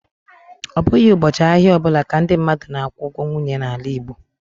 Ọ bụghị ụbọchị ahịa ọ bụla ka ndị mmadụ na-akwụ ụgwọ nwunye n'ala Igbo